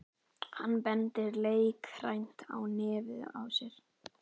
Hann bendir leikrænt á nefið á sér.